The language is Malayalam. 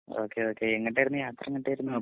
ഓക്കേ ഓക്കേ എങ്ങാട്ടെർന്നു യാത്ര എങ്ങട്ടെർന്നു